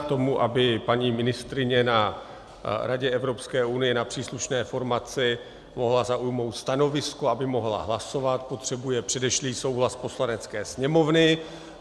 K tomu, aby paní ministryně na Radě Evropské unie na příslušné formaci mohla zaujmout stanovisko, aby mohla hlasovat, potřebuje předešlý souhlas Poslanecké sněmovny.